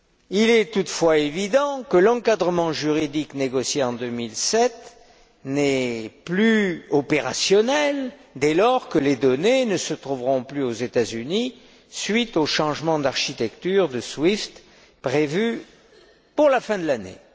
Il est toutefois évident que l'encadrement juridique négocié en 2007 ne sera plus opérationnel dès lors que les données ne se trouveront plus aux États Unis, à la suite du changement d'architecture de SWIFT, prévu pour la fin de l'année.